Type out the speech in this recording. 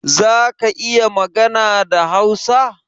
Zaka iya magana da Hausa?